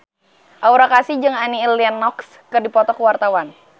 Aura Kasih jeung Annie Lenox keur dipoto ku wartawan